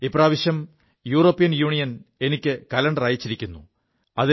ഇപ്രാവശ്യം European union എനിക്ക് calendar അയച്ചിരിക്കുു